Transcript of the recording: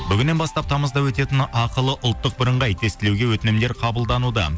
бүгіннен бастап тамызда өтетін ақылы ұлттық бірыңғай тестілеуге өтінімдер қабылдануда